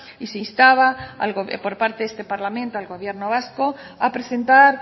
y se instaba por parte de este parlamento al gobierno vasco a presentar